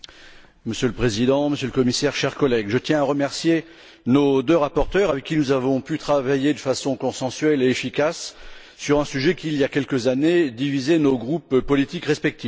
Monsieur le Président, Monsieur le Commissaire, chers collègues, je tiens à remercier nos deux rapporteurs, avec qui nous avons pu travailler de façon consensuelle et efficace sur un sujet qui, il y a quelques années, divisait nos groupes politiques respectifs.